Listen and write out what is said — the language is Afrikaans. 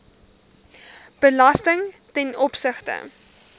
belasting ten opsigte